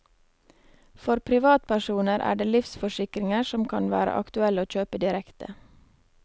For privatpersoner er det livsforsikringer som kan være aktuelle å kjøpe direkte.